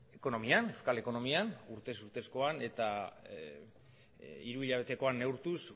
ekonomian euskal ekonomian urtez urtezkoan eta hiruhilabetekoan neurtuz